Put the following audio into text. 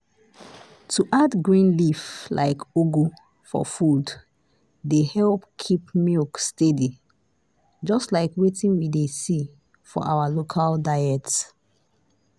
to add green leaf like ugu for food dey help keep milk steady just like wetin we dey see for our local diet.